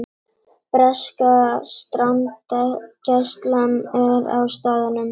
Breska strandgæslan er á staðnum